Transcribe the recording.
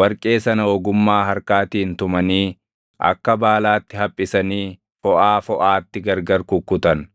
warqee sana ogummaa harkaatiin tumanii akka baalaatti haphisanii foʼaa foʼaatti gargar kukkutan.